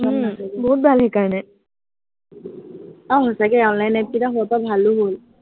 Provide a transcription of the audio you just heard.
বহুত ভাল সেইকাৰনে। আহ সঁচাকে online app কেইটো হোৱাৰ পৰা ভালো হল।